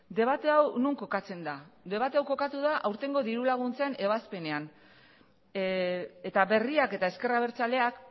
debate hau non kokatzen da debate hau kokatu da aurtengo diru laguntzen ebazpenean eta berriak eta ezker abertzaleak